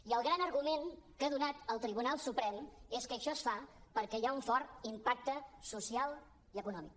i el gran argument que ha donat el tribunal suprem és que això es fa perquè hi ha un fort impacte social i econòmic